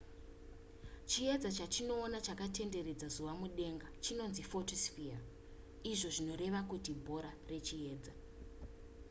chiedza chatinoona chakatenderedza zuva mudenga chinonzi photosphere izvo zvinoreva kuti bhora rechiedza